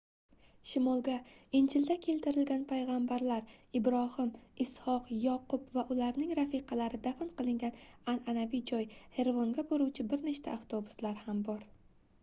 shimolga injilda keltirilgan paygʻambarlar ibrohim isʼhoq yoqub va ularning rafiqalari dafn qilingan anʼanaviy joy xervonga boruvchi bir nechta avtobuslar ham bor